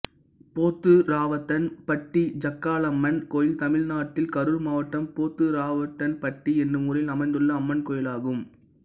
போத்துராவுத்தன்பட்டி ஜக்காளம்மன் கோயில் தமிழ்நாட்டில் கரூர் மாவட்டம் போத்துராவுத்தன்பட்டி என்னும் ஊரில் அமைந்துள்ள அம்மன் கோயிலாகும்